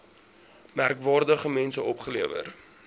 merkwaardige mense opgelewer